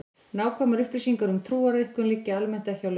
Nákvæmar upplýsingar um trúariðkun liggja almennt ekki á lausu.